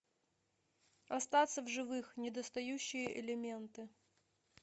остаться в живых недостающие элементы